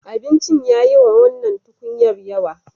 Abincin ya yi wa wannan tukunyar yawa.